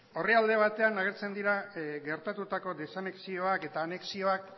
orrialde batean agertzen dira geratutako desanexioak eta anexioak